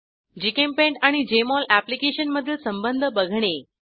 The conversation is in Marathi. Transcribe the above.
जीचेम्पेंट आणि जेएमओल एप्लिकेशन मधील संबंध बघणे